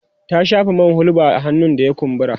ta shafa man hulba a hannun da ya kumbura